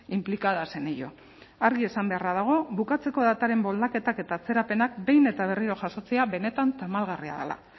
implicadas en ello argi esan beharra dago bukatzeko dataren moldaketak eta atzerapenak behin eta berriro jasotzea benetan tamalgarria dela